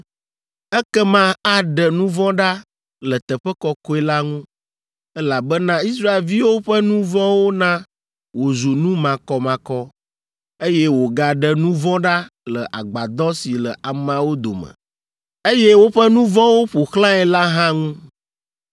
Ekema aɖe nu vɔ̃ ɖa le teƒe kɔkɔe la ŋu, elabena Israelviwo ƒe nu vɔ̃wo na wòzu nu makɔmakɔ, eye wòagaɖe nu vɔ̃ ɖa le Agbadɔ si le ameawo dome, eye woƒe nu vɔ̃wo ƒo xlãe la hã ŋu.